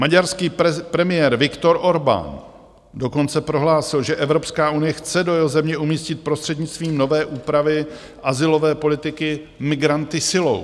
Maďarský premiér Viktor Orbán dokonce prohlásil, že Evropská unie chce do jeho země umístit prostřednictvím nové úpravy azylové politiky migranty silou.